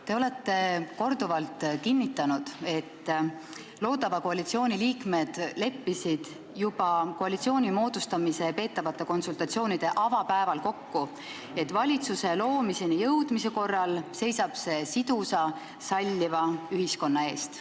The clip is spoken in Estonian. Te olete korduvalt kinnitanud, et loodava koalitsiooni liikmed leppisid juba koalitsiooni moodustamiseks peetud konsultatsioonide avapäeval kokku, et valitsuse loomiseni jõudmise korral seisab see sidusa salliva ühiskonna eest.